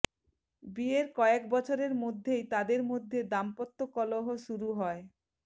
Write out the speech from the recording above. বিয়ের কয়েক বছরের মধ্যেই তাদের মধ্যে দাম্পত্য কলহ শুরু হয়